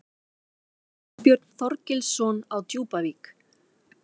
Ásbjörn Þorgilsson á Djúpavík